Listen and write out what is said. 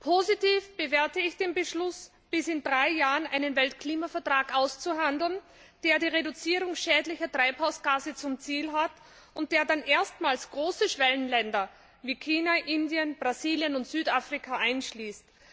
Positiv bewerte ich den Beschluss, bis in drei Jahren einen Weltklimavertrag auszuhandeln, der die Reduzierung schädlicher Treibhausgase zum Ziel hat und der dann erstmals große Schwellenländer wie China, Indien, Brasilien und Südafrika einschließt.